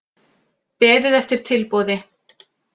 Beðið eftir tilboði